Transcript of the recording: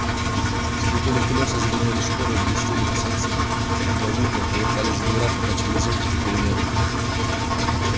скрипели колёса звенели шпоры блестели на солнце галуны колыхались веера покачивались зонтики пели негры